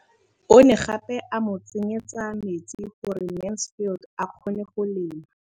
O ne gape a mo tsenyetsa metsi gore Mansfield a kgone go lema.